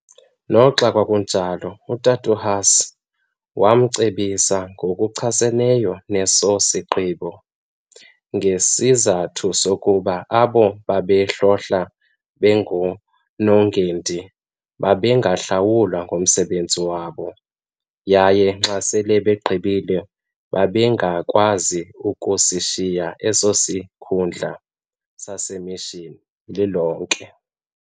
Noxa kwakunjalo, uTat' uHuss waye wamcebisa ngokuchaseneyo neso sigqibo, ngesizathu sokuba abo babehlohla bengonongendi babengahlawulwa ngomsebenzi wabo yaye xa sele beqalile babengakwazi ukusishiya eso sikhundla saseMishini, lilonke